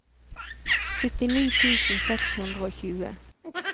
syttini tusen seks hundre og tjue